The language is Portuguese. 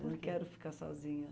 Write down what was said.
Eu não quero ficar sozinha.